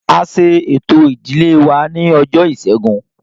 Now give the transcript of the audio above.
A ṣe ẹ̀tọ́ ìdílé wa ní ọjọ́ ìṣẹ́gun